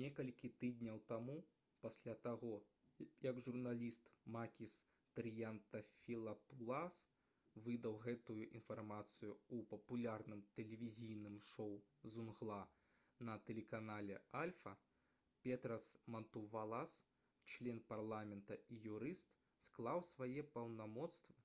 некалькі тыдняў таму пасля таго як журналіст макіс трыянтафілапулас выдаў гэтую інфармацыю ў папулярным тэлевізійным шоу «зунгла» на тэлеканале «альфа» петрас мантувалас член парламента і юрыст склаў свае паўнамоцтвы